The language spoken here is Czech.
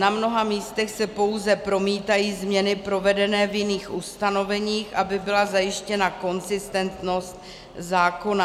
Na mnoha místech se pouze promítají změny provedené v jiných ustanoveních, aby byla zajištěna konzistentnost zákona.